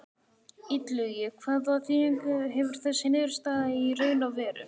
Illugi, hvaða þýðingu hefur þessi niðurstaða í raun og veru?